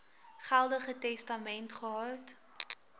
geldige testament gehad